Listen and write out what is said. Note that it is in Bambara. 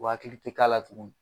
U hakili tɛ k'a la tuguni